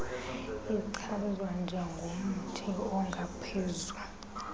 ichazwa njengomthi ongaphezu